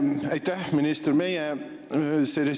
Aitäh, minister!